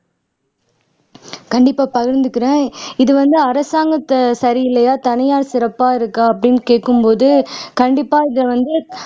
கண்டிப்பா பகிர்ந்துக்கிறேன் இது வந்து அரசாங்கம் சரியில்லையா இல்லை தனியார் சிறப்பா இருக்கா அப்படின்னு கேக்கும்போது கண்டிப்பா இதை வந்து